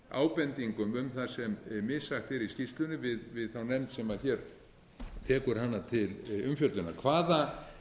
ábendingum um það sem missagt er í skýrslunni við þá nefnd sem hér tekur hana til umfjöllunar hvaða